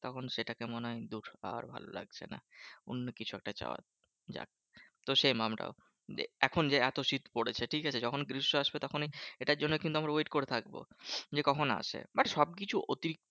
তখন সেটাকে মনে হয় দূর আর ভালোলাগছে না। অন্য কিছু একটা চাওয়া যাক। তো সে যে এখন যে এত শীত পড়েছে ঠিকাছে? যখন গ্রীষ্ম আসবে তখনই এটার জন্য কিন্তু আমরা wait করে থাকবো। যে কখন আসে? but সবকিছু অতিরিক্ত